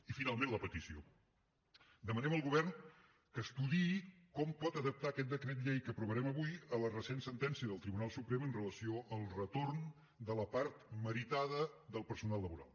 i finalment la petició demanem al govern que estudiï com pot adaptar aquest decret llei que aprovarem avui a la recent sentència del tribunal suprem amb relació al retorn de la part meritada del personal laboral